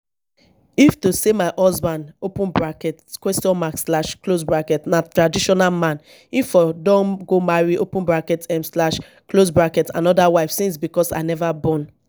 if to say my husband open bracket question mark slash close bracket na traditional man im for don go marry open bracket um slash close bracket another wife since because i never born